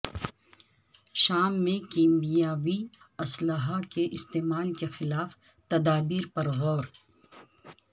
شام میں کیمیاوی اسلحہ کےاستعمال کے خلاف تدابیر پر غور